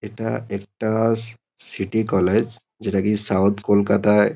এটা একটা স সিটি কলেজ যেটা কি সাউথ কলকাতায়--